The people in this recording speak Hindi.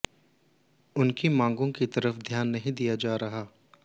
उनकी मांगों की तरफ ध्यान नहीं दिया जा रहा